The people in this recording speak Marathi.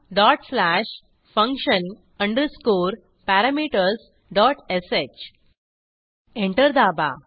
dot slash function underscore parameters dot sh enter दाबा